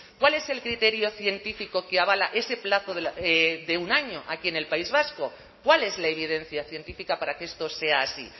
cuál es el criterio científico que avala ese plazo de un año aquí en el país vasco cuál es la evidencia científica para que esto sea así